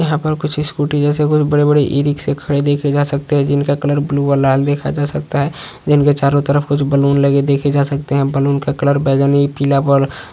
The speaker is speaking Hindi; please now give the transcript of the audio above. यहा पर कुछ स्कूटी जैसे कुछ बड़े बड़े इ रिक्शे खड़े देखे जा सकते हैं जिनका कलर ब्लू और लाल देखा जा सकता है जिनके चारो तरफ कुछ बलून लगे देखे जा सकते है। बलून का कलर बैगनी पीला वल --